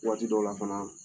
Waati dɔw la fana